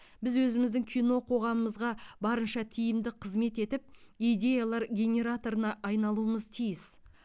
біз өзіміздің кино қоғамымызға барынша тиімді қызмет етіп идеялар генераторына айналуымыз тиіс